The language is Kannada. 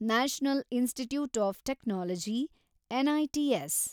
national institutes of technology, NITs